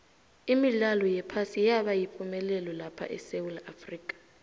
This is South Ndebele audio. imidlalo yephasi yabayipumelelo lapha esewula afrika